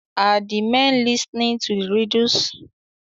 Are the men listening to the riddles?